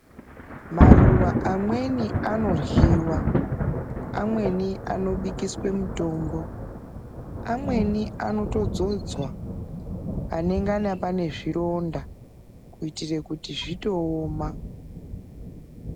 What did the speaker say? Maruwa amweni anorhyiwa, amweni anobikiswa mutombo, amweni anotodzodzwa panongana pane zvironda kuitira kuti zvitooma.